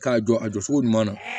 K'a jɔ a jɔ cogo ɲuman na